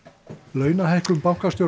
launahækkun bankastjóra